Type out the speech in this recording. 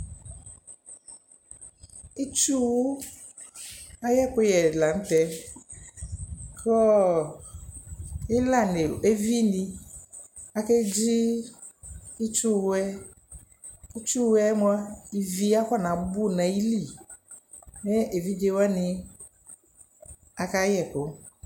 Itsuwʋ ayʋ ɛkʋyɛ la nʋ tɛ Kʋ ɔ ɩlanɩ nʋ evinɩ akedzi itsuwʋ yɛ Itsuwʋ yɛ mʋa, ivi akɔnabʋ nʋ ayili, mɛ evidze wanɩ akayɛ ɛkʋ